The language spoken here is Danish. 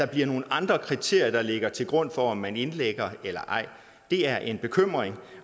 bliver nogle andre kriterier der ligger til grund for om man indlægger eller ej er en bekymring og